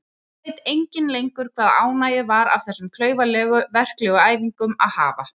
Nú veit enginn lengur hvaða ánægju var af þessum klaufalegu verklegu æfingum að hafa.